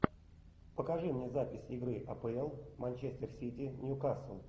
покажи мне запись игры апл манчестер сити ньюкасл